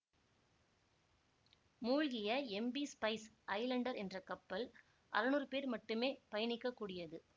மூழ்கிய MV Spice Islander என்ற கப்பல் அறநூறு பேர் மட்டுமே பயணிக்கக்கூடியது